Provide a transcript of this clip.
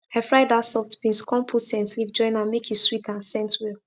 i fry dat soft beans come put scent leaf join am make e sweet and scent well